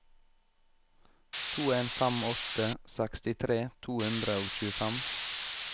to en fem åtte sekstitre to hundre og tjuefem